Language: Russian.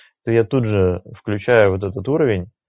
я тут же включаю вот этот уровень